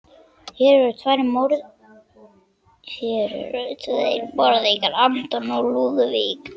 Hér eru tveir morðingjar, anton og Lúðvík.